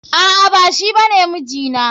A'a, ba shi bane mijina.